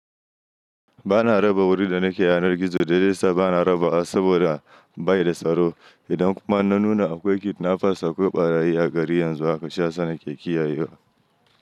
Ba na raba wuri da nake yanar gizo dalilin da yada bana rabawa, saboda bai da tsaro. Idan kuma na nuna akwai kidnappers akwai ɓarayi a gari yanzu haka shiyasa nake kiyayewa.